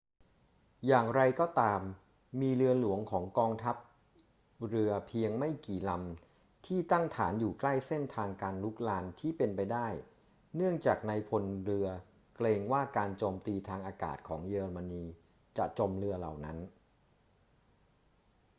อย่างไรก็ตาม มีเรือหลวงของกองทัพเรือเพียงไม่กี่ลำที่ตั้งฐานอยู่ใกล้เส้นทางการรุกรานที่เป็นไปได้ เนื่องจากนายพลเรือเกรงว่าการโจมตีทางอากาศของเยอรมนีจะจมเรือเหล่านั้น